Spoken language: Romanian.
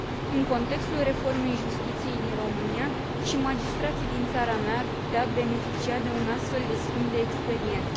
În contextul reformei justiției din România, și magistrații din țara mea ar putea beneficia de un astfel de schimb de experiență.